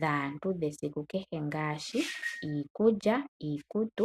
dhaantu dhesiku kehe ngaashi iikulya niikutu.